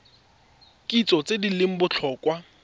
kitso tse di leng botlhokwa